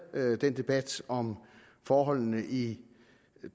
den debat om forholdene i